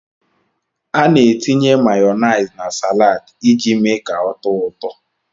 Ana etinye Mayonaise na salaadi iji mee ka ọ tóó ụtọ.